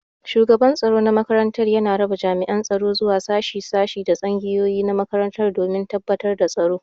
Shugaban tsaro na makaranta yana raba jami'an tsaro zuwa shashi shashi da tsangayoyi na makarantar domin tabbatar da tsaro.